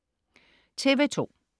TV2: